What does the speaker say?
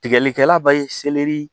Tigɛlikɛla ba ye